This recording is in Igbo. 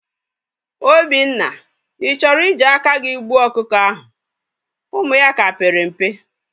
Obinna, I chọrọ i ji aka gị gbuo ọkụkọ ahụ? Ụmụ ya ka pere mpe